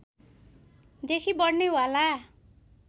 देखि बढ्ने वाला